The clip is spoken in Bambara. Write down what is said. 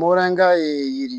Moranka ye yiri